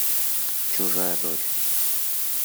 чужая дочь